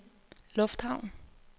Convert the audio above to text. lufthavn